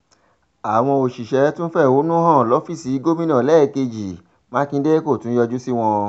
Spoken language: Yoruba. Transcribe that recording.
àwọn òṣìṣẹ́ tún fẹ̀hónú hàn lọ́fíìsì gómìnà lẹ́ẹ̀kejì mákindè kó tún yọjú sí wọn